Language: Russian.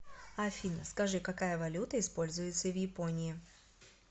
афина скажи какая валюта используется в японии